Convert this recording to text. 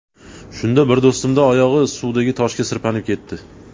Shunda bir do‘stimning oyog‘i suvdagi toshga sirpanib ketdi.